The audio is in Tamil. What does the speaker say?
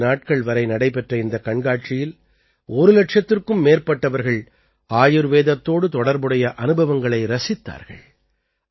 நான்கு நாட்கள் வரை நடைபெற்ற இந்தக் கண்காட்சியில் ஒரு இலட்சத்திற்கும் மேற்பட்டவர்கள் ஆயுர்வேதத்தோடு தொடர்புடைய அனுபவங்களை ரசித்தார்கள்